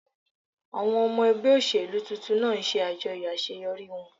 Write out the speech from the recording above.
Àwọn ọmọ ẹgbẹ́ òṣèlú tuntun náà ń ṣe àjọyọ̀ àṣeyọrí wọn